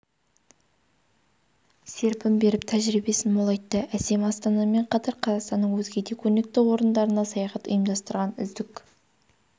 серпін беріп тәжірибесін молайтты әсем астанамен қатар қазақстанның өзге де көрнекті орындарына саяхат ұйымдастырған үздік